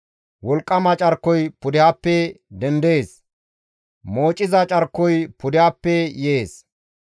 Wolqqama carkoy pudehappe dendees; moociza carkoy pudehappe yees.